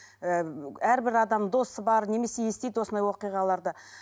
ы әрбір адам досы бар немесе естиді осындай оқиғаларды